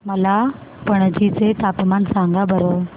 मला पणजी चे तापमान सांगा बरं